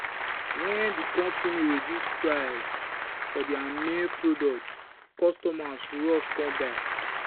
when the company reduce price for their main product customers rush come buy.